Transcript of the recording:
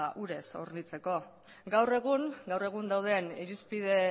urez hornitzeko gaur egun gaur egun dauden irizpide